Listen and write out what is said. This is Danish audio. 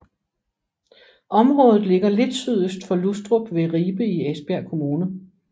Området ligger lidt sydøst for Lustrup ved Ribe i Esbjerg Kommune